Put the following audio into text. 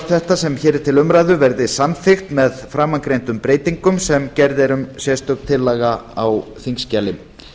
þetta sem hér er til umræðu verði samþykkt með framangreindum breytingum sem gerð er um sérstök tillaga á þingskjali